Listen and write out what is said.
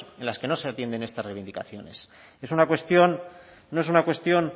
en los que no atienden estas reivindicaciones es una cuestión no es una cuestión